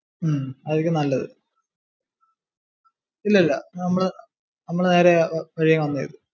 ഉം അതാരിക്കും നല്ലതു. ഇല്ലില്ല നമ്മള് നേരെ വഴിയേ വന്നതേ ഉള്ളു.